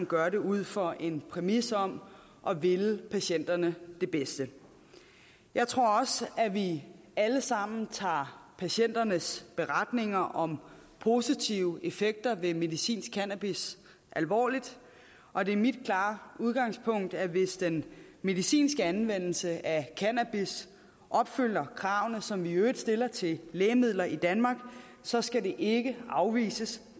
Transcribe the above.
gør det ud fra en præmis om at ville patienterne det bedste jeg tror også at vi alle sammen tager patienternes beretninger om positive effekter ved medicinsk cannabis alvorligt og det er mit klare udgangspunkt at hvis den medicinske anvendelse af cannabis opfylder kravene som vi i øvrigt stiller til lægemidler i danmark så skal det ikke afvises